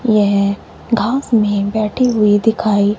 यह घास में बैठी हुई दिखाई--